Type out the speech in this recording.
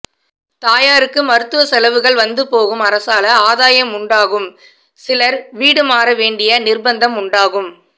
தாயாருக்கு மருத்துவச் செலவுகள் வந்து போகும் அரசால ஆதாயம் உண்டாகும் சிலர் வீடு மாற வேண்டிய நிர்பந்தம் உண்டாகும்